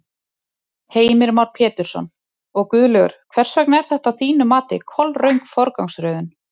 Heimir Már Pétursson: Og Guðlaugur, hvers vegna er þetta að þínu mati kolröng forgangsröðun?